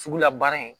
Sugula baara in